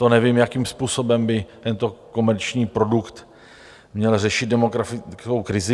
To nevím, jakým způsobem by tento komerční produkt měl řešit demografickou krizi.